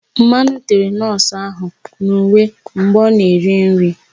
Mmanụ tere nọọsụ ahụ n'uwe mgbe ọ na-eri nri.